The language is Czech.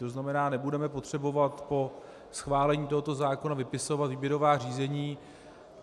To znamená, nebudeme potřebovat po schválení tohoto zákona vypisovat výběrová řízení.